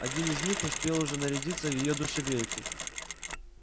один из них успел уже нарядиться в её душегрейку